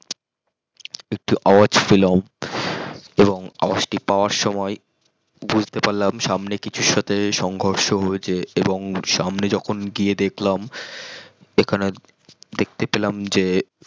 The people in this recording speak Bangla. একটি আওয়াজ পেলাম এবং আওয়াজ টি পাওয়ার সমই বুঝতে পারলাম সামনে কিছুর সাথে সংঘর্ষ হয়েছে এবং সামনে যখন গিয়ে দেখলাম এখানে দেখতে পেলাম যে